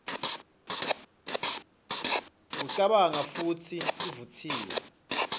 kucabanga futsi ivutsiwe